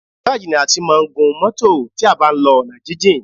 Gáráàjì ni a ti máa ń gun mọ́tọ̀ tí a bá ń lọ ọ̀nà jíjìn.